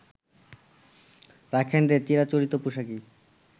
রাখাইনদের চিরাচরিত পোশাকেই